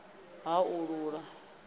n ani ha u haṱula